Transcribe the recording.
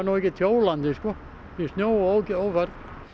ekkert hjólandi sko í snjó og ófærð